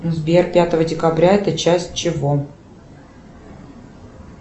сбер пятого декабря это часть чего